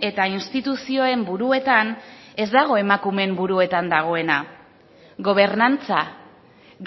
eta instituzioen buruetan ez dago emakumeen buruetan dagoena gobernantza